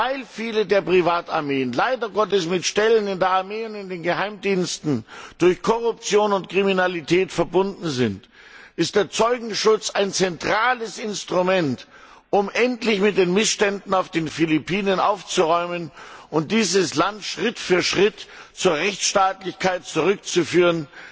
Weil viele der Privatarmeen leider Gottes mit Stellen in der Armee und in den Geheimdiensten durch Korruption und Kriminalität verbunden sind, ist der Zeugenschutz ein zentrales Instrument, um endlich mit den Missständen auf den Philippinen aufzuräumen und dieses Land Schritt für Schritt zur Rechtsstaatlichkeit zurückzuführen.